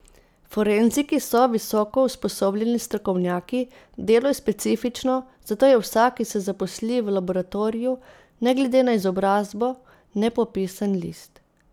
Forenziki so visoko usposobljeni strokovnjaki, delo je specifično, zato je vsak, ki se zaposli v laboratoriju, ne glede na izobrazbo, nepopisan list.